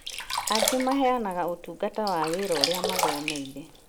Angĩ maheanaga ũtungata wa wĩra ũrĩa maathomeire